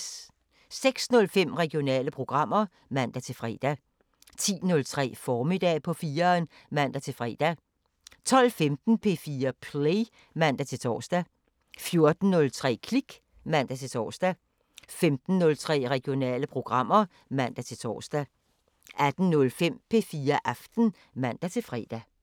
06:05: Regionale programmer (man-fre) 10:03: Formiddag på 4'eren (man-fre) 12:15: P4 Play (man-tor) 14:03: Klik (man-tor) 15:03: Regionale programmer (man-tor) 18:05: P4 Aften (man-fre)